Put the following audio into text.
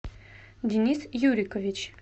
денис юрикович